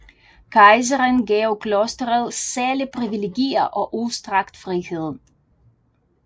Kejseren gav klosteret særlige privilegier og udstrakt frihed